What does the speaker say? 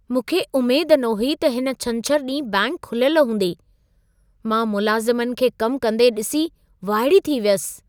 मूंखे उमेद न हुई त हिन छंछर ॾींहुं बैंक खुलियल हूंदी, मां मुलाज़िमनि खे कम कंदे ॾिसी वाइड़ी थी वियसि।